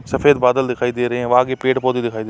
सफ़ेद बदल दिखाई दे रहे है व आगे पेड़-पौधे दिखाई दे --